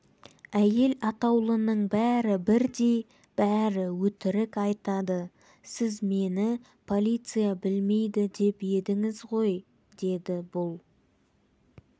әйел атаулының бәрі бірдй бәрі өтірік айтады сіз мені полиция білмейді деп едіңіз ғой деді бұл